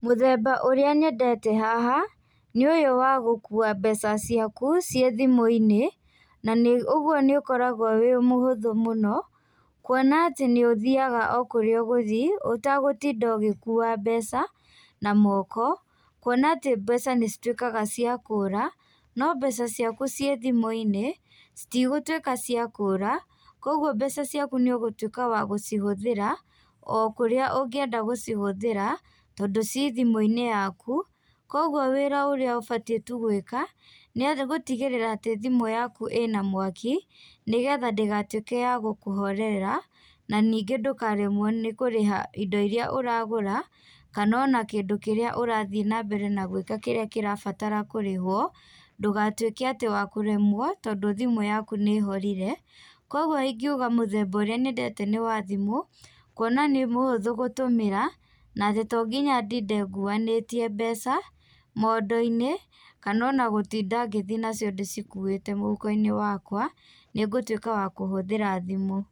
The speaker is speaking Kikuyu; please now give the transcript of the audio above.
Mũthemba ũrĩa nyendete haha nĩ ũyũ wa gũkua mbeca ciaku ciĩ thimũ-inĩ na nĩ ũguo nĩ ũkoragwo wĩ mũhũthũ mũno, kuona atĩ nĩ ũthiaga o kũrĩa ũgũthiĩ ũtagũtinda ũgĩkuwa mbeca na moko. Kuona atĩ mbeca nĩ cituĩkaga cia kũra, no mbeca ciaku ciĩ thimũ-inĩ citigũtuĩka cia kũra, koguo mbeca ciaku nĩ ũgũtuĩka wa gũcihũthĩra o kũrĩa ũngĩenda gũcihũthĩra tondũ ciĩ thimũ-inĩ yaku. Koguo wĩra ũrĩa ũbatiĩ tu gwĩka nĩ gũtigĩrĩra atĩ thimũ yaku ĩna mwaki, nĩgetha ndĩgatuĩke ya gũkũhorerera na ningĩ ndũkaremwo nĩ kũgũra indo iríĩ ũragũra, kana ona kĩndũ kĩrĩa ũrathiĩ na mbere na gwĩka kĩrabatara kũrĩhũo, ndũgatuĩki atĩ wakũremwo tondũ thimũ yaku nĩ ĩhorire. Koguo ingiuga mũthemba ũrĩa nyendete nĩ wa thimũ, kuona nĩ mũhũthũ gũtũmĩra na atĩ to nginya ndinde nguanĩtie mbeca mondo-inĩ, kana ona gũtinda ngĩthiĩ nacio nguanĩtie mũhũko-inĩ wakwa, nĩ ngũtuĩka wa kũhũthĩra thimũ.